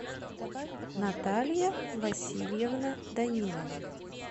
наталья васильевна данилова